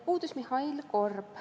Puudus Mihhail Korb.